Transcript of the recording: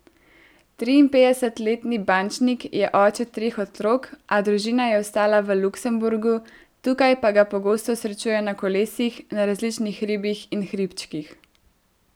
Triinpetdesetletni bančnik je oče treh otrok, a družina je ostala v Luksemburgu, tukaj pa ga pogosto srečujejo na kolesu, na različnih hribih in hribčkih.